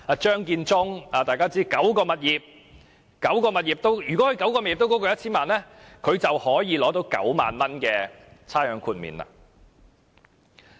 張建宗司長持有9項物業，如果那9項物業都超過 1,000 萬元，他便可獲豁免9萬元的差餉。